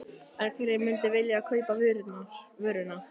En hverjir myndu vilja kaupa vöruna?